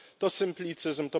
To symplicyzm.